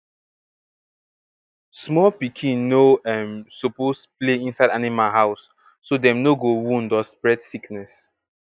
small pikin no um suppose play inside animal house so dem no go wound or spread sickness